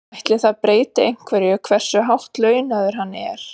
Ætli það breyti einhverju hversu hátt launaður hann er?